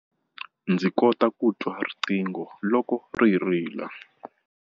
Ndzi kota ku twa riqingho loko ri rila.